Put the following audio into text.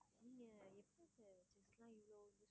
நீங்க எப்படி